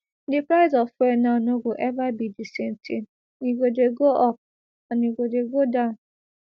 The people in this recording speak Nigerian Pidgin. di price of fuel now no go eva be di same tin e go dey go up and e go dey come down